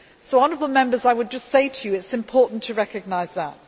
So, honourable Members, I would just say to you it is important to recognise that.